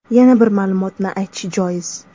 Yana bir ma’lumotni aytish joiz.